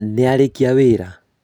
nĩarĩkia wĩra?